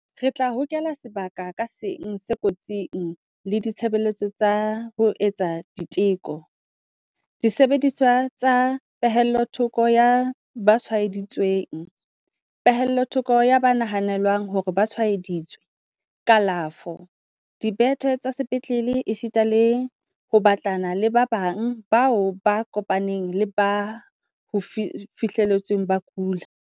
Re tla hokela sebaka ka seng se kotsing le ditshebeletso tsa ho etsa diteko, disebediswa tsa pehellothoko ya ba tshwae-ditsweng, pehellothoko ya ba nahanelwang hore ba tshwae-ditswe, kalafo, dibethe tsa sepetlele esita le ho batlana le ba bang bao ba kopaneng le ba ho fihletsweng ba kula.